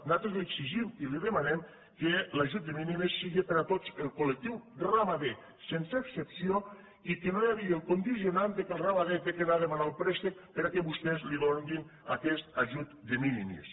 nosaltres li e xigim i li demanem que l’ajut de minimistot el col·lectiu ramader sense excepció i que no hi hagi el condicionant que el ramader ha d’anar a demanar el préstec perquè vostès li donin aquest ajut de minimis